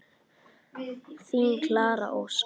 Þín Klara Ósk.